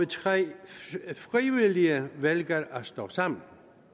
tre der frivilligt vælger at stå sammen